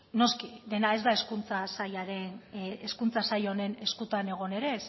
noski dena ez da hezkuntza sail honen eskuetan egon ere